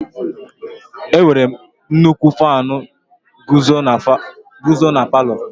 Enwere nnukwu Faanu nguzo na palu.